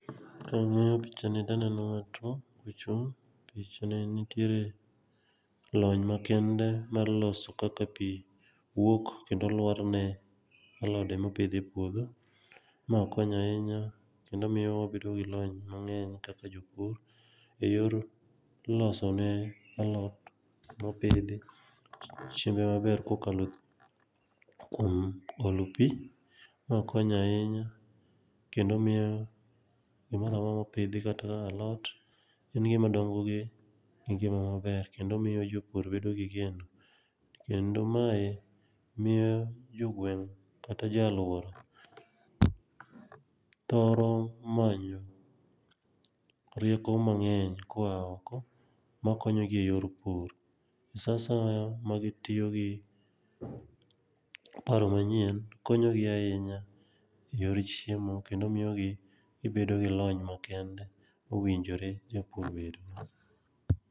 Kang'iyo picha ni taneno ng'ato kochung'. Picha ni nitiere lony makende mar loso kaka pi wuok kendo lwarne alode mopidh e puodho. Ma konyo ahinya kendo miyowa bedo gi lony mang'eny kaka jopur,e yor loso ne alot mopidhi chiembe maber kokalo kuom olo pi, makonyo ahinya kendo miyo gimora mora mopidhi kaka alot, en gima dongo e ngima maber, kendo miyo jopur bedo gi geno. To kendo mae miyo jogweng' kata jo alwora thoro manyo rieko mang'eny koa oko makonyogi e yor pur. Sa asaya magitiyo gi paro manyien, konyogi ahinya e yor chiemo kendo miyogi gibedo gi lony makende, owinjore japur bedgo.